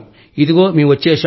ఇదిగో మేం వచ్చేశాం